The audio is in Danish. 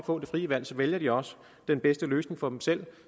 få det frie valg også vælger den bedste løsning for dem selv